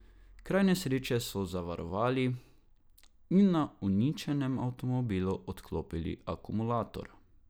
Kraj nesreče so zavarovali in na uničenem avtomobilu odklopili akumulator.